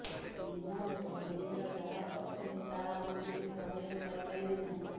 ମୀନା ଏବଂ ବୀରେନ୍ଦ୍ର ଯାହା କରୁଛନ୍ତି ତାହା ଆମ ଭିତରୁ ଅନେକ କରି ପାରିବେ ନାହିଁ